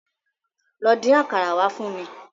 Lọ dín àkàrà wá fún mi.